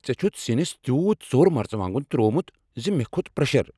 ژےٚ چھتھ سِنس تیوٗت ژوٚر مرژٕوانگن تووومت تہ مےٚ کھوٚت پرٛشر۔